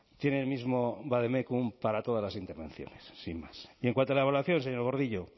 tiene el mismo vademécum para todas las intervenciones sin más y en cuanto a la evaluación señor gordillo